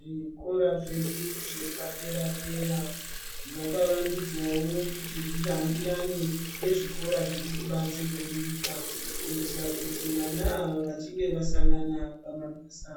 Zvikora zvedu zvepadera dera zvakawandudzwawo kuti zvihambirane nezvikora zviri kubanze kwenyika kuitira kuti vana ava vachinge vasangana pamabasa